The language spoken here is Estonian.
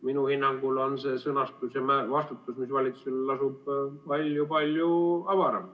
Minu hinnangul on see vastutus, mis nüüd selles sõnastuses valitsusel lasub, palju-palju avaram.